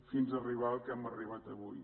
fins a arribar al que hem arribat avui